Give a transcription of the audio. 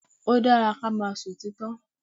Ó dára kí á máa sọ òtítọ́.